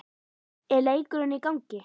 er leikurinn í gangi?